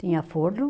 Tinha forno.